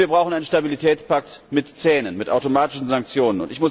Und wir brauchen einen Stabilitätspakt mit Zähnen, mit automatischen Sanktionen.